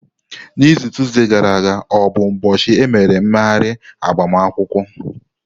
N'izu tuzdee gara aga o bụ ụbọchị emere mmeghari agbamakwụkwọ?